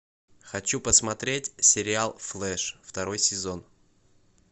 хочу посмотреть сериал флэш второй сезон